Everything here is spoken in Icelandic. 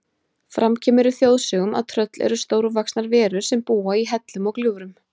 Fram kemur í þjóðsögum að tröll eru stórvaxnar verur sem búa í hellum og gljúfrum.